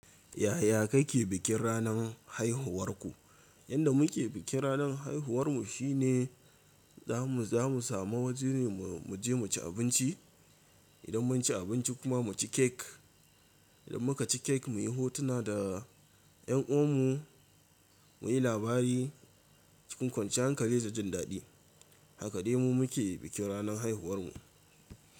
Yaya kake bikin ranar haihuwarku? Yanda muke bikin ranar haihuwar mu shine zamu samu waje mu je mu ci abinci. Idan mun ci abinci kuma mu ci cake. Idan muka ci cake muyi hotuna da ƴan uwan mu, muyi labari cikin kwanciyan hankali da jin daɗi. Haka dai mu muke bikin ranar haihuwar mu.